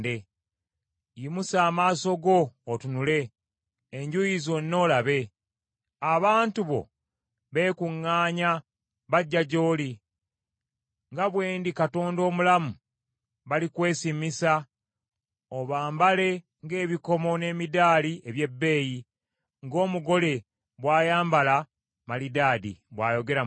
Yimusa amaaso go otunule enjuuyi zonna olabe. Abantu bo beekuŋŋaanya bajja gy’oli. Nga bwe ndi Katonda omulamu, balikwesiimisa, obambale ng’ebikomo n’emidaali ebyebbeeyi ng’omugole bw’ayambala malidaadi,” bw’ayogera Mukama .